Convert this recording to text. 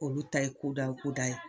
Olu ta ye kodaye kodaye.